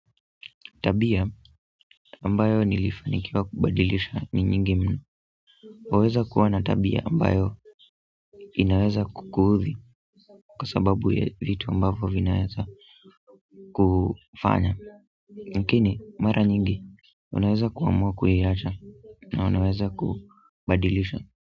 Tabia ambayo nilifanikiwa kubadilisha ni nyingi mno waweza kuwa na tabia ambayo inaweza kukuudhi kwa sababu ya vitu ambavyo vinaweza kufanya lakini mara nyingi unaweza kuamua kuiacha na unaweza kubadilisha.